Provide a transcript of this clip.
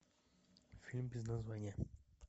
фильм без названия